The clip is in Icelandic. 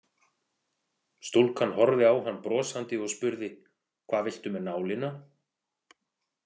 Stúlkan horfði á hann brosandi og spurði: „Hvað viltu með nálina“?